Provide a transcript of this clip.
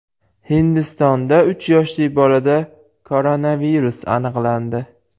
Hindistonda uch yoshli bolada koronavirus aniqlandi .